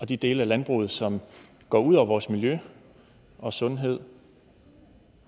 de dele af landbruget som går ud over vores miljø og sundhed